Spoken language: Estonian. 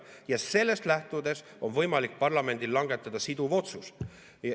Ja sellest lähtudes on võimalik parlamendil langetada siduv otsus.